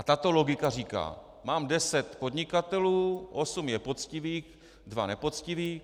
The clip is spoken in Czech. A tato logika říká: Mám deset podnikatelů, osm je poctivých, dva nepoctiví.